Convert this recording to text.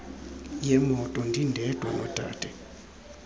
yemoto ndindedwa nodade